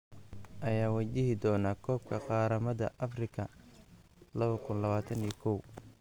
Ayaa wajihi doona koobka qaramada Afrika 2021?